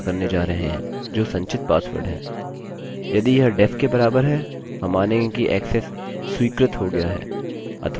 यदि यह def के बराबर है हम मानेंगे कि ऐक्सेस स्वीकृत हो गया अथवा ऐक्सेस अस्वीकृत हो गया है